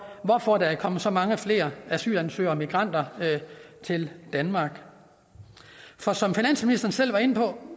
hvorfor der er kommet så mange flere asylansøgere og migranter til danmark for som finansministeren selv var inde på